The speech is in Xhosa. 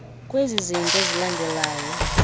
kwezi zinto zilandelayo